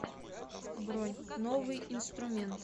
бронь новый инструмент